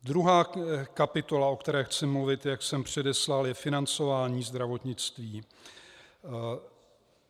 Druhá kapitola, o které chci mluvit, jak jsem předeslal, je financování zdravotnictví.